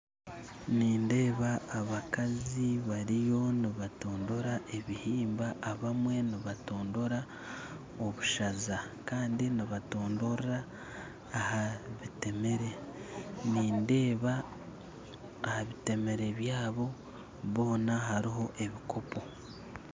Nindeeba abakazi bariyo nibatondora ebihimba, abamwe nibatondora obushaza kandi nibatondora aha bitemere, nindeeba aha bitemere byabo boona hariho ebikopo